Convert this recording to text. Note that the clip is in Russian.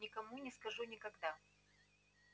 никому не скажу никогда